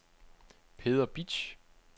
Peder Bitsch